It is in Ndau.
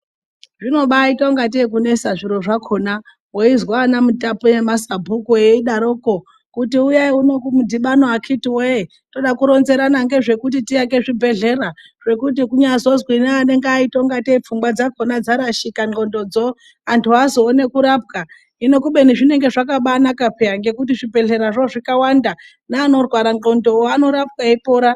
Zvinobaita ungate kunesa zviro zvakona weizwa anamutape, nemasubhuku eyidaroko kuti uyai uno kumudhibano akiti wee toda kuronzerana ngezvekuti tiake zvibhedhlera zvekuti kunyazozwi neanenge ayita ngate pfungwa dzakona dzarashika ndxondo dzo andu azoone kurapwa hino kubeni zvinenge zvakaba naka piya ngekuti zvibhedhlera zvo zvikawanda neanorwara ndxondo wo anorapwa eyipora.